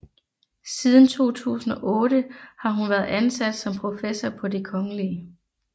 Siden 2008 har hun været ansat som professor på det Kgl